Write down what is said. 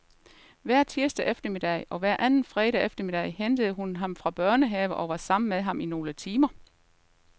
Hver tirsdag eftermiddag og hver anden fredag eftermiddag hentede hun ham fra børnehave og var sammen med ham i nogle timer.